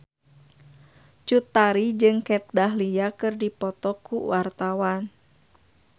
Cut Tari jeung Kat Dahlia keur dipoto ku wartawan